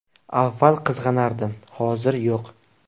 Avvallari qizg‘anardim, hozir yo‘q.